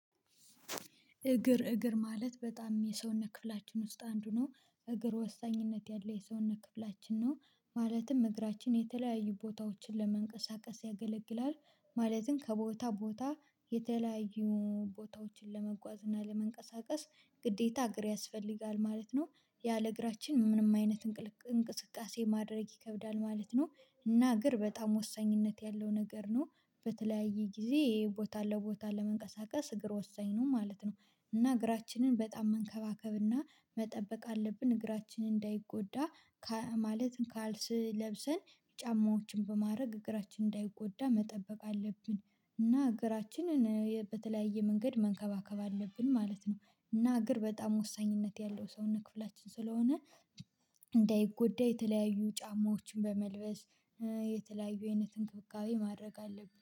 እግር እግር ማለት በጣም የሰውነት ክፍላችን ውስጥ አንዱ ነው እግር ወሳኝነት ያለ የሰውነት ክፍላችን ነው። ማለትም እግራችን የተለያዩ ቦታዎችን ለመንቀሳቀስ ያገለግላል። ማለትም ከቦታ ቦታ የተለያዩ ቦታዎችን ለመጓዝ እና ለመንቀሳቀስ ግዴታ አገር ያስፈልጋል ማለት ነው። ያለ እግራችን ምንም አይነት እንቅስቃሴ ማድረግ ይከብዳል ማለት ነው። እና እግር በጣም ወሳኝነት ያለው ነገር ነው። በተለያየ ጊዜ ቦታ ለቦታ ለመንቀሳቀስ እግር ወሳኝ ነው ማለት ነው። እና እግራችንን በጣም መንከባከብና መጠበቅ አለብን እግራችንን እንዳይጎዳ። ማለት ካልሲ ለብሰን ጫማዎችን በማድረግ እግራችን እንዳይጎዳ መጠበቅ አለብን። እና እግራችንን በተለያየ መንገድ መንከባከብ አለብን ማለት ነው። እና እግር በጣም ወሳኝነት ያለው ሰውነት ክፍላችን ስለሆነ እንዳይጎዳ የተለያዩ ጫማዎችን በመልበስ የተለያዩ አይነት እንክብካቤ ማድረግ አለብኝ